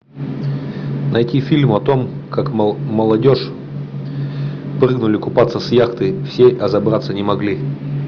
найти фильм о том как молодежь прыгнули купаться с яхты все а забраться не могли